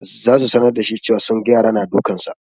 Za su sanar da shi cewa sunga yara na dukansa.